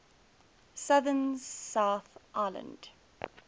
southern south island